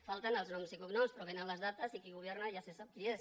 falten els noms i cognoms però hi vénen les dates i qui governa ja se sap qui és